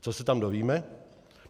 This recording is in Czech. Co se tam dovíme?